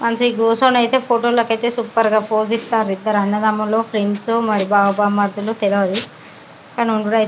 మంచి గుసన్న అయితే ఫోటోలు అయితే సూపర్ గా పూజిస్తాన్ద్ర ఇద్దరు అన్నదమ్ములు --